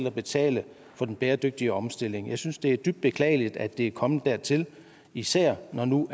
at betale for den bæredygtige omstilling jeg synes det et dybt beklageligt at det er kommet dertil især når nu